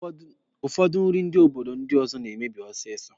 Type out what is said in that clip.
Ụfọdụ nri ndị obodo ndi ọzọ na-emebi ọsịsọ.